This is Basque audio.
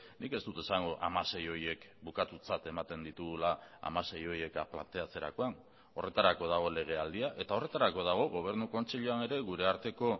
nik ez dut esango hamasei horiek bukatutzat ematen ditugula hamasei horiek planteatzerakoan horretarako dago legealdia eta horretarako dago gobernu kontseiluan ere gure arteko